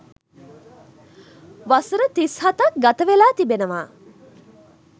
වසර තිස් හතක් ගතවෙලා තිබෙනවා.